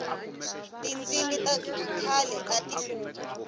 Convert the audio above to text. tindzimi ta khale ati hlupha